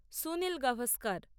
Sunil Gavaskar